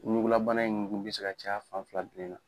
Ɲugulabana in be se ka caya fan fila bilen na.